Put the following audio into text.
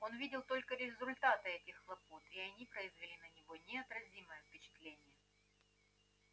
он видел только результаты этих хлопот и они производили на него неотразимое впечатление